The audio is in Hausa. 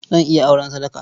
Zan iya auren sadaka.